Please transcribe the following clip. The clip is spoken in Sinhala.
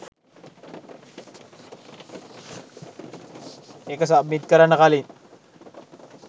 ඒක සබ්මිට් කරන්න කලින්